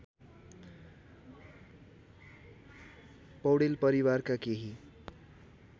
पौडेल परिवारका केही